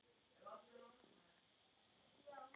Linda Björk og Soffía.